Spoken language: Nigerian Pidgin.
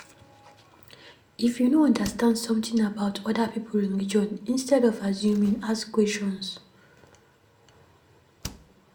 If you no understand something about oda pipo religion, instead of assuming, ask questions